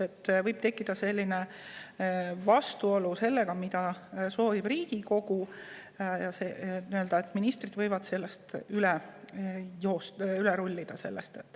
Sel juhul võib tekkida vastuolu sellega, mida soovib Riigikogu, sest ministrid võivad sellest üle rullida.